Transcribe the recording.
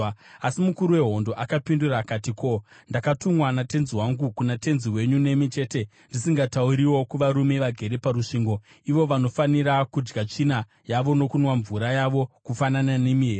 Asi mukuru wehondo akapindura akati, “Ko, ndakatumwa natenzi wangu kuna tenzi wenyu nemi chete ndisingatauriwo kuvarume vagere parusvingo, ivo vanofanira kudya tsvina yavo nokunwa mvura yavo kufanana nemi here?”